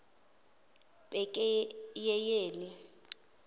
pakeyeyeli